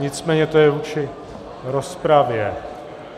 Nicméně to je vůči rozpravě.